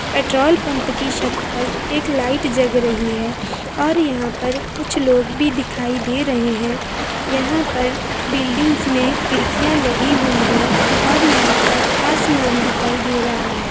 Petrol pump की छत पर एक लाइट जल रही है और यहां पर कुछ लोग भी दिखाई दे रहे है यहां पर बिल्डिंग्स में खिड़कियां लगी हुई है और यहां पे आसमान दिखाई दे रहा है।